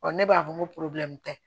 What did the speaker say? ne b'a fɔ n ko tɛ